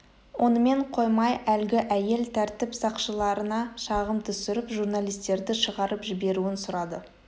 онымен қоймай әлгі әйел тәртіп сақшыларына шағым түсіріп журналистерді шығарып жіберуін сұрады